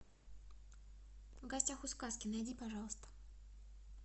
в гостях у сказки найди пожалуйста